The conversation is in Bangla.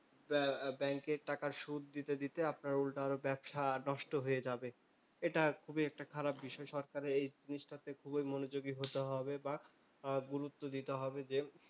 ব্যাব্যাংকের টাকার সুদ দিতে দিতে আপনার উল্টা আরো ব্যবসা নষ্ট হয়ে যাবে। এটা খুবই একটা খারাপ বিষয়। সরকারের এই জিনিসটাতেই খুবই মনোযোগী হতে হবে বা গুরুত্ব দিতে হবে যে,